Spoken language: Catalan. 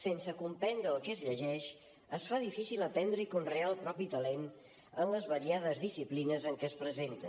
sense comprendre el que es llegeix es fa difícil aprendre i conrear el propi talent en les variades disciplines en què es presenta